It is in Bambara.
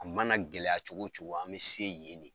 A mana gɛlɛya cogo wo cogo an bɛ se yen de.